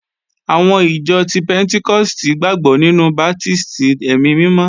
Àwọn ìjọ ti pẹ́ntíkọ́stì gbàgbọ́ nínú baptísì ẹ̀mí mímọ́